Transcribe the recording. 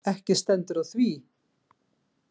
Ekki stendur á því.